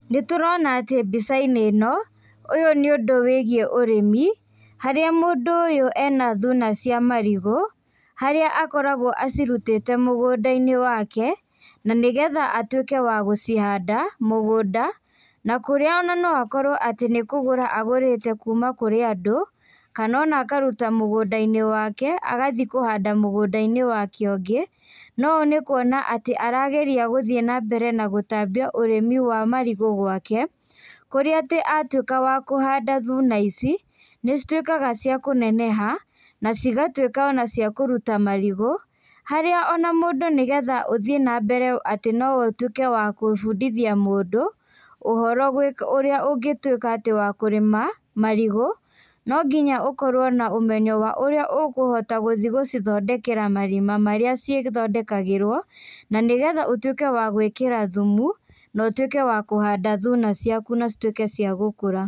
Nĩtũrona atĩ mbicainĩ ĩno, ũyũ nĩ ũndũ wĩgiĩ ũrĩmi, harĩa mũndũ ũyũ ena thuna cia marigũ, harĩa akoragwo acirutĩte mũgũndainĩ wake, na nĩgetha atuĩke wa gũcihanda, mũgũnda, na kũrĩa ona no akorwo atĩ nĩ kũgũra agũrĩte kuma kũrĩ andũ, kana ona akaruta mũgũndainĩ wake, agathiĩ kũhanda mũgũndainĩ wake ũngĩ, no ũ nĩkuona atĩ arageria gũthiĩ nambere na gũtambia ũrĩmi wa marigũ gwake, kũrĩa atĩ atuĩka wa kũhanda thuna ici, nĩcituĩkaga cia kũneneha, na cigatuĩka ona cia kũruta marigũ, harĩa ona mũndũ nĩgetha ũthiĩ nambere atĩ no ũtuĩke wa kũbundithia mũndũ, ũhoro gwĩka ũrĩa ũngĩtuĩka atĩ wa kũrĩma, marigũ, nonginya ũkorwo na ũmenyo wa ũrĩa ũkũhota gũthiĩ gũcithondekera marima marĩa cithondekagĩrwo, na nĩgetha ũtuĩke wa gwĩkĩra thumu, na ũtuĩke wa kũhanda thuna ciaku na cituĩke cia gũkũra.